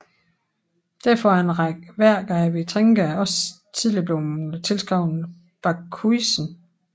Derfor er en række værker af Vitringa også tidligere blevet tilskrevet Bakhuizen